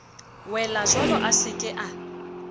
welajwalo a se ke a